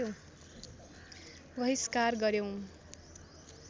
बहिष्कार गर्‍यौँ